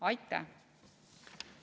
Aitäh!